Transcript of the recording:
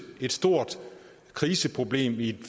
et stort kriseproblem i et